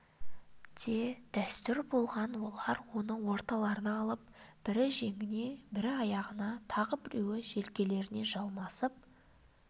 де дәстүр болған олар оны орталарына алып бірі жеңіне бірі аяғына тағы біреулері желкесіне жармасып